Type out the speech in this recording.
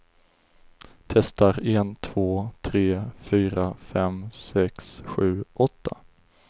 Testar en två tre fyra fem sex sju åtta.